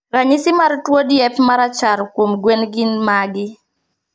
Ranyisi mar tuo diep marachar kuom gwen gin magi.